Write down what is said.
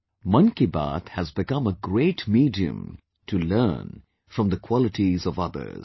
'Mann Ki Baat' has become a great medium to learn from the qualities of others